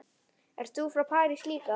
Ert þú frá París líka?